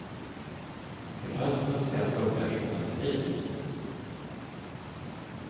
Till hösten ska jag plugga journalistik.